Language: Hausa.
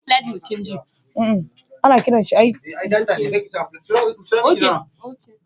Hawwa da Halima, sun binciko sabbin hanyoyin noman kokwamba a shekara mai zuwa.